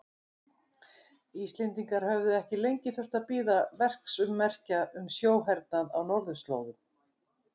Íslendingar höfðu ekki lengi þurft að bíða verksummerkja um sjóhernaðinn á norðurslóðum.